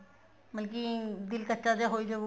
ਮਤਲਬ ਕੀ ਦਿਲ ਕੱਚਾ ਜਾ ਹੋਈ ਜਾਉ